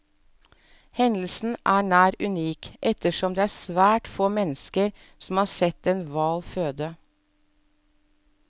Hendelsen er nær unik, ettersom det er svært få mennesker som har sett en hval føde.